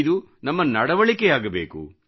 ಇದು ನಮ್ಮ ನಡವಳಿಕೆಯಾಗಬೇಕು